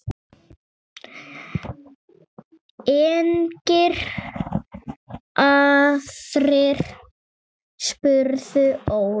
Engir aðrir? spurði Óli.